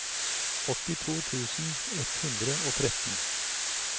åttito tusen ett hundre og tretten